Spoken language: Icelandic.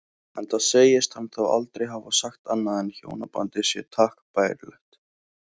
Enda segist hann þá aldrei hafa sagt annað en hjónabandið sé takk bærilegt.